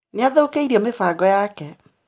Nĩathũkĩrio mĩbango yake.